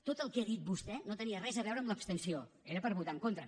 tot el que ha dit vostè no tenia res a veure amb l’abstenció era per votar hi en contra